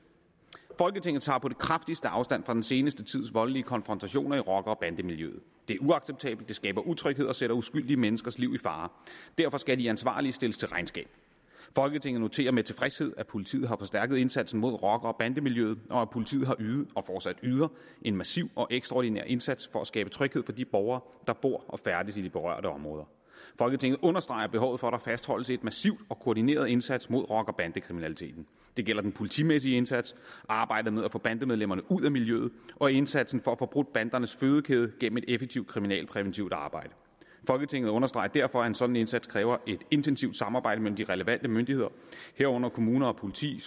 folketinget tager på det kraftigste afstand fra den seneste tids voldelige konfrontationer i rocker og bandemiljøet det er uacceptabelt skaber utryghed og sætter uskyldige menneskers liv i fare derfor skal de ansvarlige stilles til regnskab folketinget noterer sig med tilfredshed at politiet har forstærket indsatsen mod rocker og bandemiljøet og at politiet har ydet og fortsat yder en massiv og ekstraordinær indsats for at skabe tryghed for de borgere der bor og færdes i de berørte områder folketinget understreger behovet for at der fastholdes en massiv og koordineret indsats mod rocker og bandekriminaliteten det gælder den politimæssige indsats arbejdet med at få bandemedlemmerne ud af miljøet og indsatsen for at få brudt bandernes fødekæde gennem et effektivt kriminalpræventivt arbejde folketinget understreger derfor at en sådan indsats kræver et intensivt samarbejde mellem de relevante myndigheder herunder kommunerne og politiet